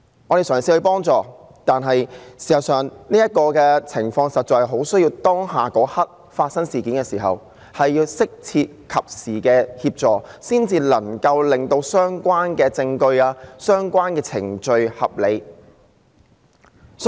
我們嘗試幫助她，但事實上，這種情況很需要在事件發生的當刻，獲得適切和及時的協助，才能令相關的證據和程序處理得當。